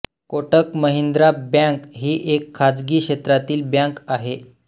Kotak Mahindra bank ही एक खाजगी क्षेत्रातील बँक आहे